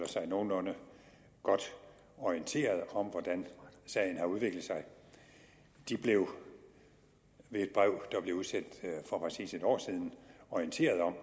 sig nogenlunde godt orienteret om hvordan sagen har udviklet sig de blev ved et brev der blev udsendt for præcis en år siden orienteret om at